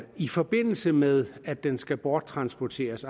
i forbindelse med at den skal borttransporteres